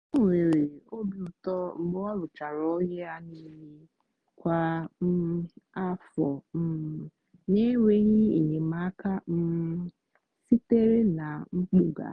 o nwere obi ụtọ mgbe ọ rụchara ọrụ ya niile kwa um afọ um n'enweghị enyemaka um sitere na mpụga.